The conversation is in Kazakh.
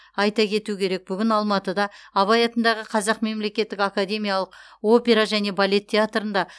айта кету керек бүгін алматыда абай атындағы қазақ мемлекеттік академиялық опера және балет театрында